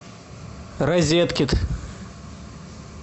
розеткед